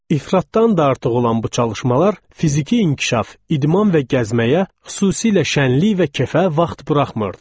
İfratdan da artıq olan bu çalışmalar fiziki inkişaf, idman və gəzməyə, xüsusilə şənlilik və kefə vaxt buraxmırdı.